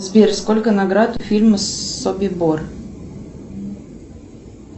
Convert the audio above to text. сбер сколько наград у фильма собибор